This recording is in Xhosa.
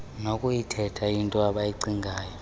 lokuyithetha intoi abayicingayo